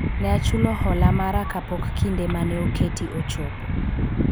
ne achulo hola mara kapok kinde mane oketi ochopo